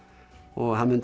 og hann myndi